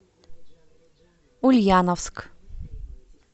ульяновск